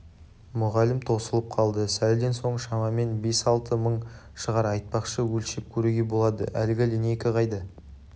мұғалім тосылып қалды сәлден соң шамамен бес-алты мың шығар айтпақшы өлшеп көруге болады әлгі линейка қайда